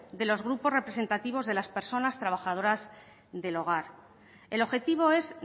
de los grupos representativos de las personas trabajadoras del hogar el objetivo es